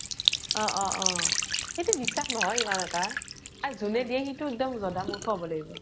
অ অ অ । সেইতো বিশ্বাস নহয়, ইমান এটা । আৰু যোনে দিয়ে সিতো এক্দম জধা মুৰ্খ হʼব লাগিব